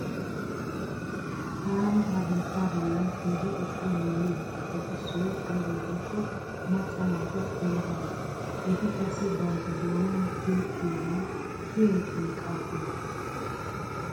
Taani ha biitta bollan keehi ixxa yuuyyiyobatuppe issoy aybe giikko macca naatu ele hanuwa. Eti qassi bantta doonan tiyettiyobay shiyay xinqqaa xinqqees.